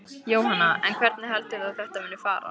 Jóhanna: En hvernig heldur þú að þetta muni fara?